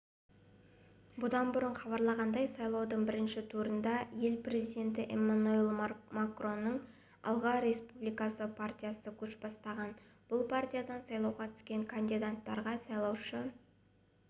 бұдан бұрын хабарланғандай сайлаудың бірінші турында ел президенті эммануэль макронның алға республика партиясы көш бастаған бұл партиядан сайлауға түскен кандидаттарға сайлаушы